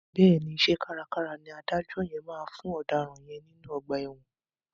Bẹ́ẹ̀ni, iṣẹ́ kárakára ni adájọ́ yẹn máa fún ọ̀daràn yẹn nínú ọgbà ẹ̀wọ̀n.